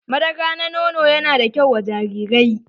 Madara na nono ya na da kyau wa jarirai.